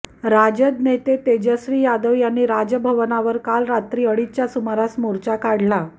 राजद नेते तेजस्वी यादव यांनी राजभवनावर काल रात्री अडीच्या सुमारास मोर्चा काढला